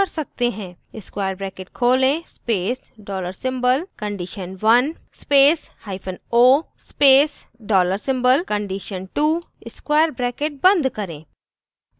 * square bracket खोलें space dollar symbol condition1 space hyphen o space dollar symbol condition2 square bracket बंद करें